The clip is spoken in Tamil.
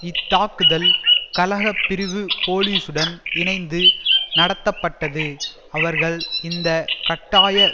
இத்தாக்குதல் கலக பிரிவு போலீசுடன் இணைந்து நடத்தப்பட்டது அவர்கள் இந்த கட்டாய